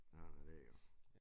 Sådan er det jo